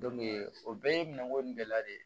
o bɛɛ ye minɛnko in bɛɛ la de ye